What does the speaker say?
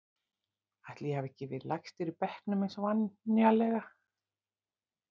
Ætli ég hafi ekki verið lægstur í bekknum eins og venjulega.